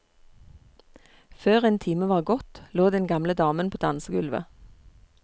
Før en time var gått, lå den gamle damen på dansegulvet.